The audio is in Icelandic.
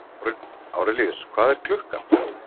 Árelíus, hvað er klukkan?